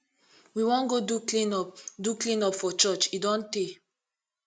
we wan go do clean up do clean up for church e don tey